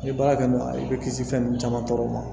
I ye baara kɛ n'o ye i bɛ kisi fɛn ninnu caman tɔɔrɔ ma